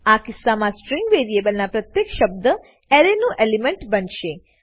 આ કિસ્સામાં સ્ટ્રીંગ વેરીએલબના પ્રત્યેક શબ્દ એરેનું એલિમેન્ટ બનશે